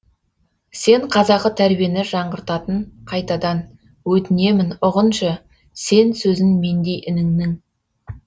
сен қазақы тәрбиені жаңғыртатын қайтадан өтінемін ұғыншы сен сөзін мендей ініңнің